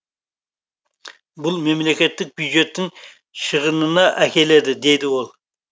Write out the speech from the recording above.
бұл мемлекеттік бюджеттің шығынына әкеледі дейді ол